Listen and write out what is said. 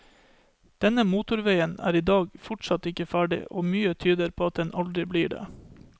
Denne motorveien er i dag fortsatt ikke ferdig, og mye tyder på at den aldri blir det.